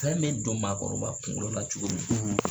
Fɛn me don maakɔrɔba kuŋolo la cogo min